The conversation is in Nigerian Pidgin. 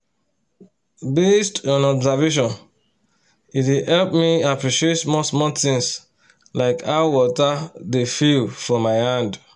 basd on observation e dey help me appreciate small-small things like how water dey feel for my hand